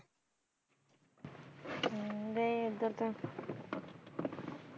ਨਹੀਂ ਇਧਰ ਤਾਂ